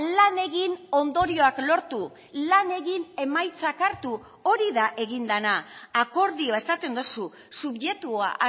lan egin ondorioak lortu lan egin emaitzak hartu hori da egin dena akordioa esaten duzu subjektua